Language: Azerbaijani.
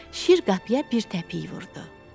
Şir qapıya bir təpik vurdu.